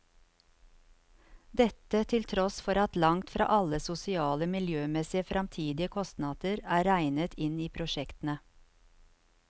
Dette til tross for at langt fra alle sosiale, miljømessige og fremtidige kostnader er regnet inn i prosjektene.